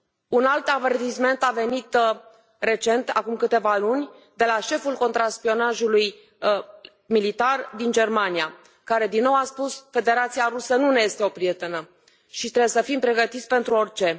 Un alt avertisment a venit recent, acum câteva luni, de la șeful contraspionajului militar din Germania care din nou a spus Federația Rusă nu ne este o prietenă și trebuie să fim pregătiți pentru orice.